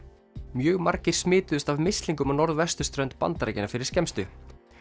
mjög margir smituðust af mislingum á norðvesturströnd Bandaríkjanna fyrir skemmstu